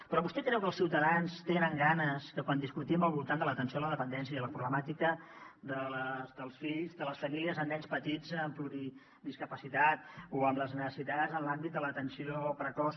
però vostè creu que els ciutadans tenen ganes que quan discutim al voltant de l’atenció a la dependència i la problemàtica dels fills de les famílies amb nens petits amb pluridiscapacitat o amb les necessitats en l’àmbit de l’atenció precoç